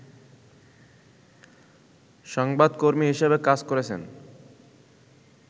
সংবাদকর্মী হিসাবে কাজ করেছেন